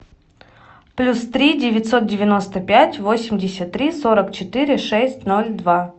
плюс три девятьсот девяносто пять восемьдесят три сорок четыре шесть ноль два